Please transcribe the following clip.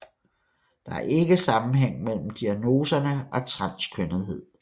Der er ikke sammenhæng mellem diagnoserne og transkønnethed